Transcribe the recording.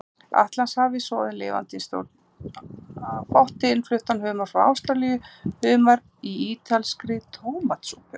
Atlantshafi, soðinn lifandi í stórum potti, innfluttan humar frá Ástralíu, humar í ítalskri tómatsúpu.